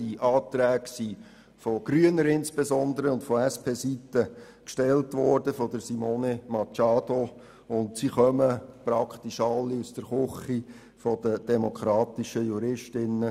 Die Anträge wurden insbesondere von grüner Seite von Simone Machado und von der SP gestellt und kommen praktisch alle aus der Küche der Demokratischen Jurist_innen.